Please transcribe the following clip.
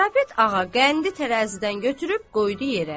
Karapet ağa qəndi tərəzidən götürüb qoydu yerə.